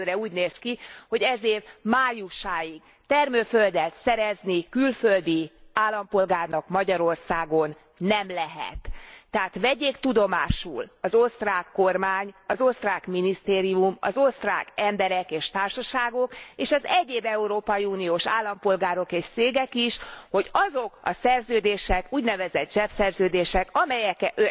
Egyelőre úgy néz ki, hogy ez év májusáig termőföldet szerezni külföldi állampolgárnak Magyarországon nem lehet. Tehát vegyék tudomásul az osztrák kormány, az osztrák minisztérium, az osztrák emberek és társságok és az egyéb európai uniós állampolgárok és cégek is, hogy azok a szerződések, úgynevezett zsebszerződések, amelyeket